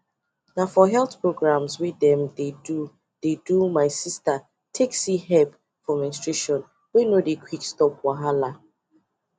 na for health programmes wey dem dey do dey do my sister take see help for menstruation wey no dey quick stop wahala